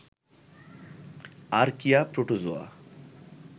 archaea, protozoa